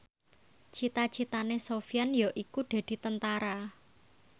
cita citane Sofyan yaiku dadi Tentara